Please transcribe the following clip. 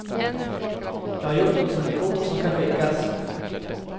Jag har gjort dem som ett kort som kan skickas.